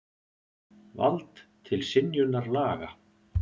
Vald til synjunar laga.